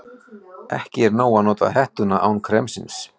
Ekki er nóg að nota hettuna án kremsins.